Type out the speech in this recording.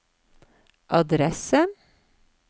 adresse